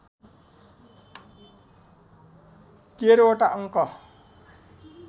१३ वटा अङ्क